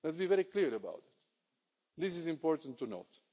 Let's be very clear about it. This is important to note.